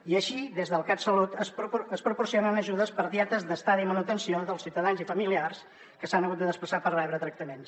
i així des del catsalut es proporcionen ajudes per dietes d’estada i manutenció dels ciutadans i familiars que s’han hagut de desplaçar per rebre tractaments